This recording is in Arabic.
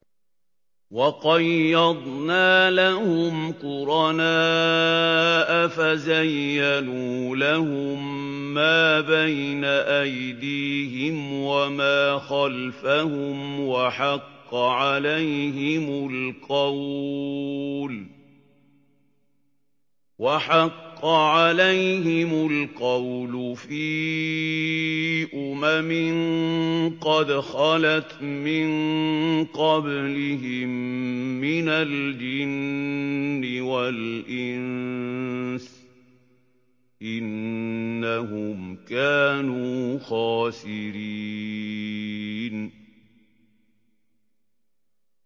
۞ وَقَيَّضْنَا لَهُمْ قُرَنَاءَ فَزَيَّنُوا لَهُم مَّا بَيْنَ أَيْدِيهِمْ وَمَا خَلْفَهُمْ وَحَقَّ عَلَيْهِمُ الْقَوْلُ فِي أُمَمٍ قَدْ خَلَتْ مِن قَبْلِهِم مِّنَ الْجِنِّ وَالْإِنسِ ۖ إِنَّهُمْ كَانُوا خَاسِرِينَ